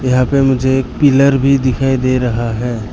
यहां पे मुझे एक पिलर भी दिखाई दे रहा है।